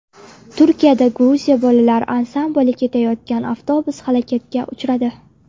Turkiyada Gruziya bolalar ansambli ketayotgan avtobus halokatga uchradi.